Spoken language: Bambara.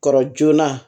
Kɔrɔ joona